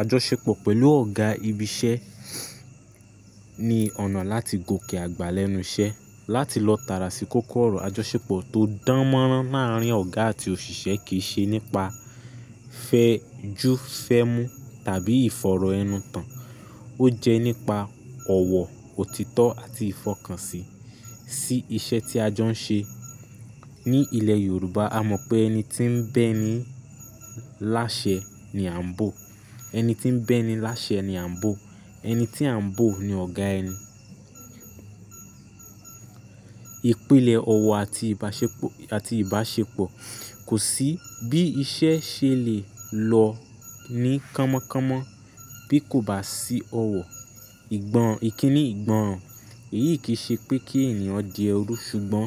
Ajọṣepọ̀ pẹ̀lú ọ̀gá ibi iṣẹ́ ní ọ̀nà láti gòkè àgbà lẹ́nu iṣẹ́. Láti lọ tàrà sí kòkòrò ajọṣepọ̀ tó dánmọ́rán láàárín ọ̀gá àti òṣìṣẹ́ kì í ṣe nípa fẹ́jú fẹ́mú tàbí ìfọ̀rọ̀ ẹnu tan. Ó jẹ́ nípa ọ̀wọ̀, òtítọ́ àti ìfọkànsìn sí iṣẹ́ tí ajọ́ ń ṣe. Ní ilẹ̀ Yorùbá a mọ̀ pé ẹni tí ń bẹ́ ni láṣẹ ni à ń bò. Ẹni tí ń bẹ́ ni láṣẹ ni à ń bò. Ẹni tí à ń bò ni ọ̀gá ẹni. Ìpílẹ̀ ọ̀wọ̀ àti ìbáṣepọ̀ kò sí bí iṣẹ́ ṣe lè lọ ní kánmọ́ kánmọ́ bí kò bá sí ọ̀wọ̀. Ìgbọn, ìkíni ìgbọnran Èyí kì í ṣe pé kí ènìyàn di ẹrú ṣùgbọ́n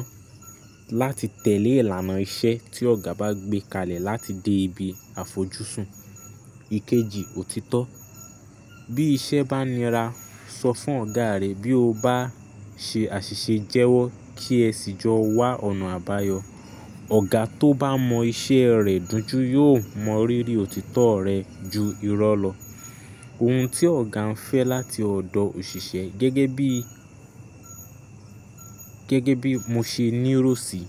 láti tẹ̀lé ìlànà iṣẹ́ tí ọ̀gá bá gbé kalẹ̀ láti dé ibi àfojúsùn. Ikeji, òtítọ́. Bí iṣẹ́ bá nira, sọ fún ọ̀gá rẹ. Bí o bá ṣe àṣìṣe jẹ́wọ́ kí ẹ sì jọ wá ọ̀nà àbáyọ. Ọ̀gá tó bá mọ iṣẹ́ rẹ̀ dujú yóò mọ rírí òtítọ́ rẹ ju irọ́ lọ. Ohun tí ọ̀gá ń fẹ́ láti ọ̀dọ̀ òṣìṣẹ́ gẹ́gẹ́ bí, gẹ́gẹ́ bí mo ṣe ní ìrò sì,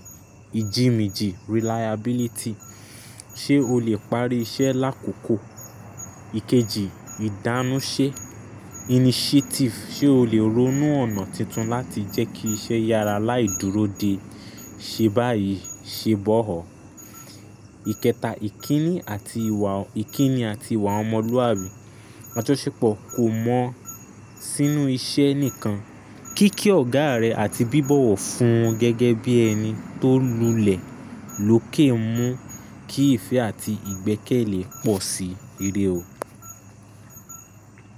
ijí méjì, reliability. Ṣé o lè parí iṣẹ́ lákókò? Ikeji, ìdánúṣe initiative. Ṣé o lè ronú ọ̀nà tuntun láti jẹ́ kí iṣẹ́ yára láì dúró de, ṣe báyìí ṣe bọ̀ hoọ́? Ikẹta, ìkíni àti ìwà ọmọlúwàbí. Ajọṣepọ̀ kò mọn sínú iṣẹ́ nìkan. Kíkí ọ̀gá rẹ àti bíbọ̀wọ̀ fún gẹ́gẹ́ bí ẹni tó lulẹ̀ lóke mú kí ìfẹ́ àti ìgbẹ́kẹ̀lé pọ̀ si. Iré o.